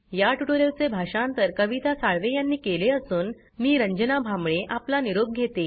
या ट्यूटोरियल चे भाषांतर कविता साळवे यांनी केले असून मी रंजना भांबळे आपला निरोप घेते